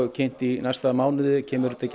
kynnt í næsta mánuði kemur þetta ekki